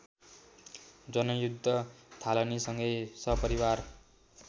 जनयुद्ध थालनीसँगै सपरिवार